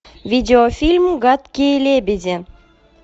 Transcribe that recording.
видеофильм гадкие лебеди